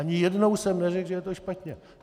Ani jednou jsem neřekl, že to je špatně.